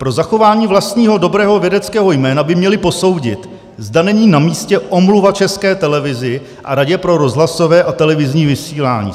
Pro zachování vlastního dobrého vědeckého jména by měli posoudit, zda není namístě omluva České televizi a Radě pro rozhlasové a televizní vysílání."